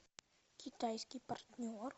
китайский партнер